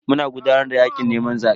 Muna gudanar da yakin neman zabe.